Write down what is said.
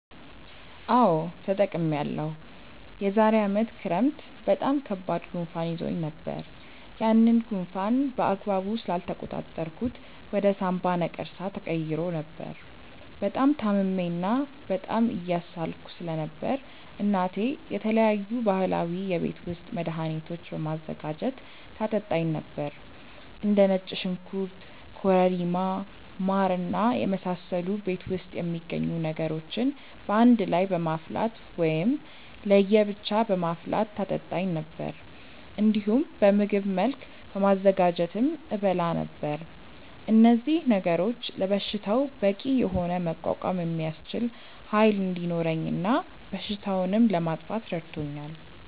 አዎ ተጠቅሜያለሁ። የዛሬ አመት ክረምት በጣም ከባድ ጉንፋን ይዞኝ ነበር። ያንን ጉንፋን በአግባቡ ስላልተቆጣጠርኩት ወደ ሳምባ ነቀርሳ ተቀይሮ ነበር። በጣም ታምሜ እና በጣም እየሳልኩ ስለነበር እናቴ የተለያዩ ባህላዊ የቤት ውስጥ መድሀኒቶችን በማዘጋጀት ታጠጣኝ ነበር። እንደ ነጭ ሽንኩርት ኮረሪማ ማር እና የመሳሰሉ ቤት ውስጥ የሚገኙ ነገሮችን በአንድ ላይ በማፍላት ወይም ለየ ብቻ በማፍላት ታጠጣኝ ነበር። እንዲሁም በምግብ መልክ በማዘጋጀትም እበላ ነበር። እነዚህ ነገሮች ለበሽታው በቂ የሆነ መቋቋም የሚያስችል ኃይል እንዲኖረኝ እና በሽታውንም ለማጥፋት ረድቶኛል።